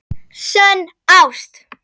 SÖNN ÁST.